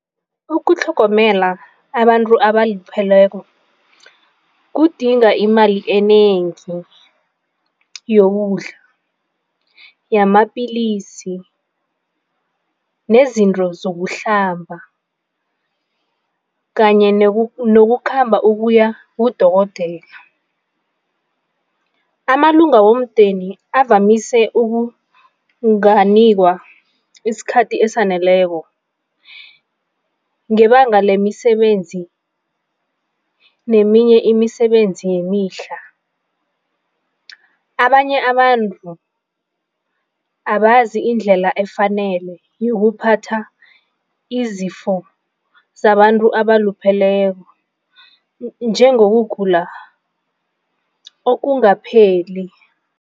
Ukutlhogomela abantu abalupheleko kudinga imali enengi yokudla, yamapilisi nezinto zokuhlamba kanye nokukhamba ukuya kudokotela. Amalunga womndeni avamise ukunganikwa isikhathi esaneleko ngebanga lemisebenzi neminye imisebenzi yemihla. Abanye abantu abazi indlela efanele yokuphatha izifo zabantu abalupheleko njengokugula okungaphephi.